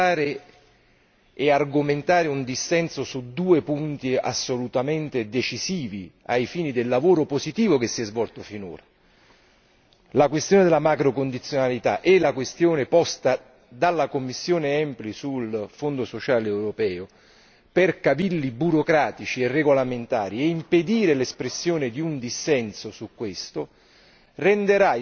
impedire di votare e argomentare un dissenso su due punti assolutamente decisivi ai fini del lavoro positivo che si è svolto finora. Si tratta della questione della macrocondizionalità e della questione posta dalla commissione EMPL sul Fondo sociale europeo per cavilli burocratici e regolamentari e impedire l'espressione di un dissenso su questo